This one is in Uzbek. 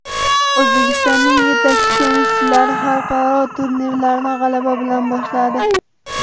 O‘zbekistonning yetakchi tennischilari xalqaro turnirlarni g‘alaba bilan boshladi.